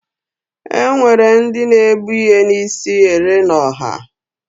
Enwere ndị na-ebu ihe n'isi ere n'ọha.